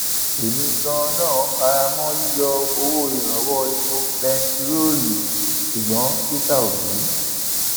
èmi ganan fara mọ yíyọ owó ìrànwọ epo bẹntiróòlù ṣùgbọn peter obi